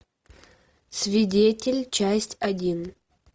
свидетель часть один